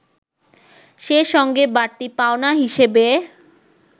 সে সঙ্গে বাড়তি পাওনা হিসেবে